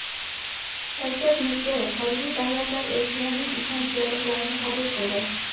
Shavkat Mirziyoyev xorijiy davlatlar elchilarining ishonch yorliqlarini qabul qildi.